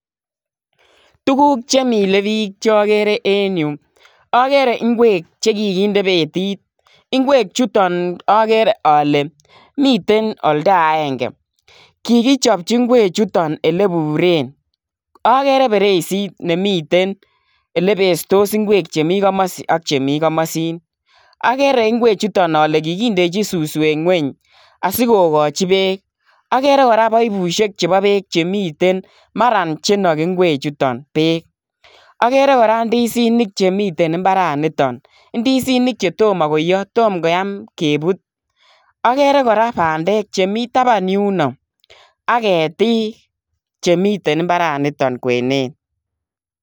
Tuguuk chemile bik chokeree en yuh, ogere ingwek chekikinde beetit. Ingwek chuton agree ale miten oldaengee, kikichopchii ingwechuton oleburen. Agere berisit nemiten elebestoos ingwek chemii komosi ak chemikomosin. Agere ingwechuton ale kikindechin suswek ngwony asikokochi beek. Agere kora paipusiek chebo beek chemiten maran chenoki ingwechuton beek. Agere kora indisinik, chemiten imbaranitok. Indisinik chetomo koiyoo, tomo koyaam kebut. Agere kora bandek chemi tabaan yunok. Ak keetik chemiten imbaranitok kwenet